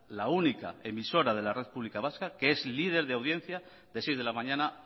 la única emisora de la red pública vasca que es líder de audiencia de seis de la mañana